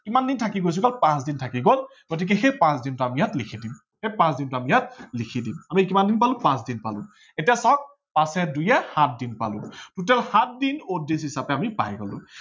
কিমান দিন থাকি গল, পাছ দিন থাকি গল গতিকে সেই পাচ দিনটো আমি ইয়াত লিখি দিম, সেই পাচ দিনটো আমি ইয়াত লিখি দিম আমি কিমান দিন পালো পাচ দিন পালো। এতিয়া চাৱক পাচে দুয়ে সাত দিন পালো total সাত দিম আমি odd days হিচাপে আমি পাই গলো।